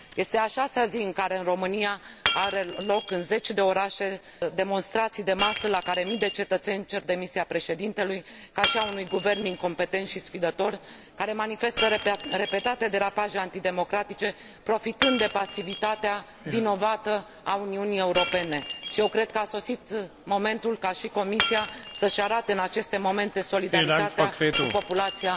Este a șasea zi în care în România au loc în zeci de orașe demonstrații de masă la care mii de cetățeni cer demisia președintelui, ca și a unui guvern incompetent și sfidător, care manifestă repetate derapaje antidemocratice, profitând de pasivitatea vinovată a Uniunii Europene, și eu cred că a sosit momentul ca și Comisia să și arate în aceste momente solidaritatea cu populația.